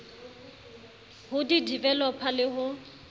ho di developer le ho